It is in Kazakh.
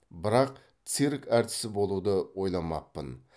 бірақ цирк әртісі болуды ойламаппын